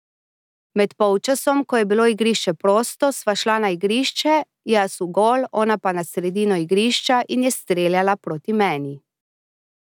Med polčasom, ko je bilo igrišče prosto, sva šla na igrišče, jaz v gol, ona pa na sredino igrišča in je streljala proti meni.